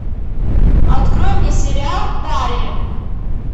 открой мне сериал дарья